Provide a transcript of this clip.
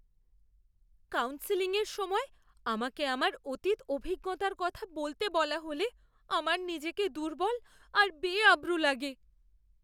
কাউন্সেলিংয়ের সময় আমাকে আমার অতীত অভিজ্ঞতার কথা বলতে বলা হলে আমার নিজেকে দুর্বল আর বেআব্রু লাগে।